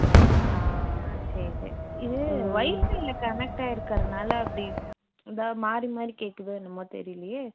ஆஹ் சரி சரி இது WIFI ல connect ஆகிருக்கறதுனால அப்படி இதா மாறி மாறி கேக்குதோ என்னமோ தெரியலயே